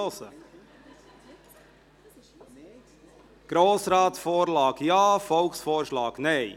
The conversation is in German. () Grossratsvorlage: Ja, Volksvorschlag: Nein.